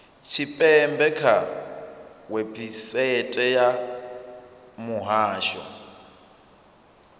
tshipembe kha website ya muhasho